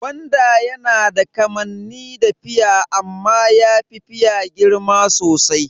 Gwanda yana da kamanni da fia amma yafi fia girma sosai.